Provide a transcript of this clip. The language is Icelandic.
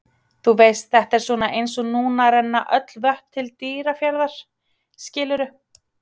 Þú veist, þetta er svona eins og núna renna öll vötn til Dýrafjarðar, skilurðu?